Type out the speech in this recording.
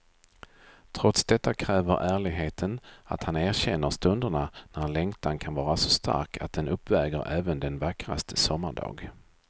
Trots detta kräver ärligheten att han erkänner stunderna när längtan kan vara så stark att den uppväger även den vackraste sommardag.